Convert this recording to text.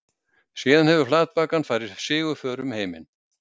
Síðan hefur flatbakan farið sigurför um heiminn.